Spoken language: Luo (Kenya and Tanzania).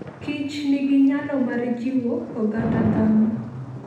kich nigi nyalo mar jiwo oganda dhano.